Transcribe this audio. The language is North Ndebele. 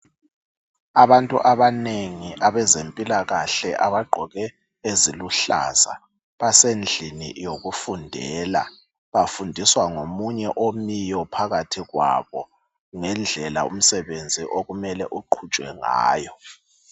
Abantu abanengi abezempilakahle abagqoke eziluhlaza, basendlini yokufundela bafundiswa ngomunye omiyo phakathi kwabo ngendlela umsebenzi okumele uqhutshwe ngayo.